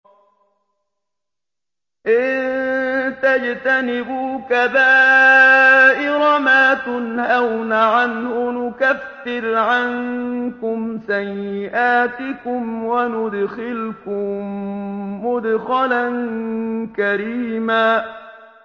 إِن تَجْتَنِبُوا كَبَائِرَ مَا تُنْهَوْنَ عَنْهُ نُكَفِّرْ عَنكُمْ سَيِّئَاتِكُمْ وَنُدْخِلْكُم مُّدْخَلًا كَرِيمًا